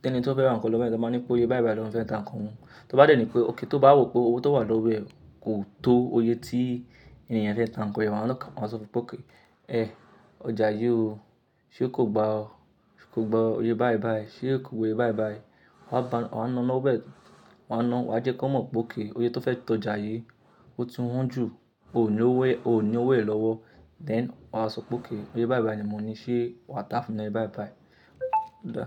tí ẹni tí ó fẹ́ ra nǹkan lọ́wọ́ e te máa ní pé eye báìbàì lọ́ ma fẹ́ ta nǹkan won Tó bá dènì pé òkè, tó bá rò pé owó tó wà lọ́wọ́ ẹ kò tó oyé tí ènìyàn fẹ́ ta nǹkan yẹn, wọ́n á sọ fún ọ pé, “Èh, ọjà yí o, ṣé kò gba ọ? Sé kò gba eyè báìbàì? Ṣé kò gbe eyè báìbàì?” Wa ta, waá ná lọ́wọ́ ẹ̀. Waá ná wá jẹ́ kí wọ́n mọ̀ pé òkay eyè tó fẹ́ tọ́ ọjà yí o ti wọ́n jù. O ò ní owó, o ò ní owó yen lọ́wo. Then wa wá sọ pé òkay eyè báìbàì ni mo ní, ṣé wàá tá fúnmi ni eye báìbàì? O da.